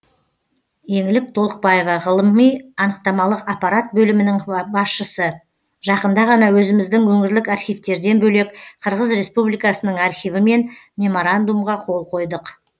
еңлік толықбаева ғылыми анықтамалық аппарат бөлімінің басшысы жақында ғана өзіміздің өңірлік архивтерден бөлек қырғыз республикасының архивімен меморандумға қол қойдық